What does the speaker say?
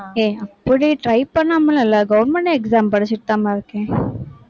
ஏய், அப்படி try பண்ணாமலும் இல்லை. government exam படிச்சுட்டுதாம்மா இருக்கேன்.